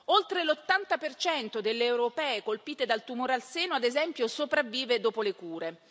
Oltre l'80 delle europee colpite dal tumore al seno, ad esempio, sopravvive dopo le cure.